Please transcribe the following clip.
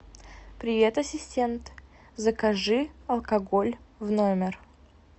привет ассистент закажи алкоголь в номер